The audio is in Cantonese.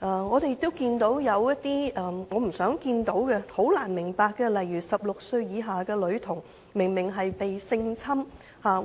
我們亦看到一些不想看到亦難以理解的個案，例如有16歲以下的女童明明遭性侵，